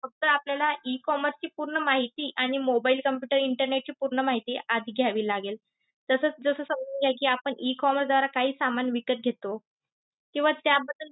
फक्त आपल्याला E commerce ची पूर्ण माहिती आणि mobile, computer, internet ची पूर्ण माहिती आधी घ्यावी लागेल. तसंच जस समजून घ्या कि आपण E commerce द्वारा काही सामान विकत घेतो किंवा त्याबद्दल